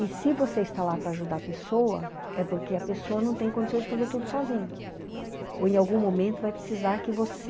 E se você está lá para ajudar a pessoa, é porque a pessoa não tem condições de fazer tudo sozinho, ou em algum momento vai precisar que você